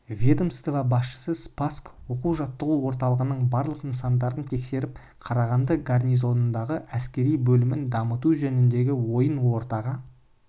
ведомство басшысы спасск оқу-жаттығу орталығының барлық нысандарын тексеріп қарағанды гарнизонындағы әскери бөлімін дамыту жөніндегі ойын ортаға